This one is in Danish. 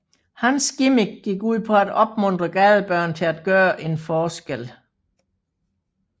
Hans gimmick gik ud på at opmuntre gadebørn til at gøre en forskel